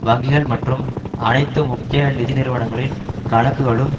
வங்கிகள் மற்றும் அனைத்து முக்கிய நிதி நிறுவனங்களின் கணக்குகளும்